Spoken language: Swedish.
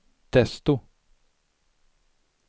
desto